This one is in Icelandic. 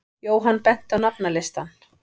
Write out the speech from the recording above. Jóhann benti á nafnalistann.